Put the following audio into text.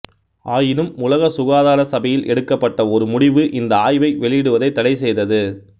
ஆயினும் உலக சுகாதார சபையில் எடுக்கப்பட்ட ஒரு முடிவு இந்த ஆய்வை வெளியிடுவதை தடை செய்தது